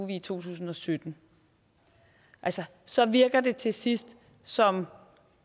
i to tusind og sytten altså så virker det til sidst som